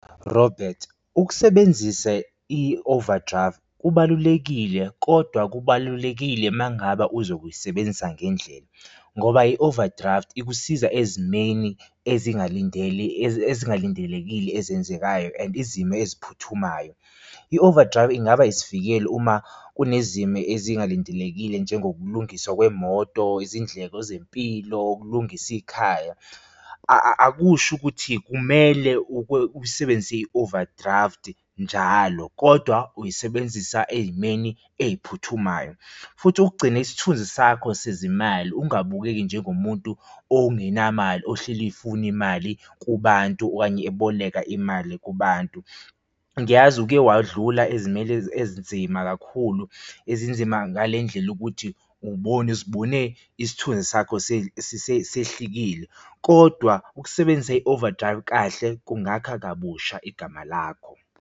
Robert, ukusebenzisa i-overdraft kubalulekile kodwa kubalulekile mangabe uzobe uyisebenzisa ngendlela ngoba i-overdraft ikusiza ezimeni ezingalindelekile ezenzekayo and izimo eziphuthumayo. I-overdraft ingaba isivikelo uma kunezimo ezingalindelekile njengokulungiswa kwemoto, izindleko zempilo, ukulungisa ikhaya, akusho ukuthi kumele usebenzise i-overdraft njalo kodwa uyisebenzisa ey'meni ey'phuthumayo. Futhi ukugcina isithunzi sakho sezimali ungabukeki njengomuntu ongenamali ohleli efuna imali kubantu okanye eboleka imali kubantu. Ngiyazi ukke wadlula ezimele ezinzima kakhulu ezinzima ngale ndlela yokuthi uzibone isithunzi sakho sehlikile, kodwa ukusebenzisa i-overdraft kahle kungakha kabusha igama lakho.